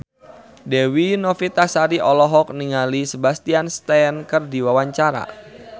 Dewi Novitasari olohok ningali Sebastian Stan keur diwawancara